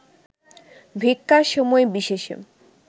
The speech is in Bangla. ভিক্ষার সময় বিশেষে